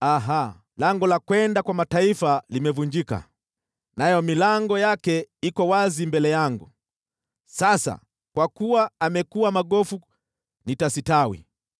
‘Aha! Lango la kwenda kwa mataifa limevunjika, nayo milango yake iko wazi mbele yangu, sasa kwa kuwa amekuwa magofu nitastawi.’